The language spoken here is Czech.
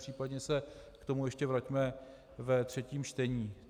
Případně se k tomu ještě vraťme ve třetím čtení.